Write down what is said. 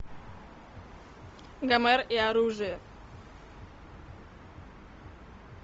гомер и оружие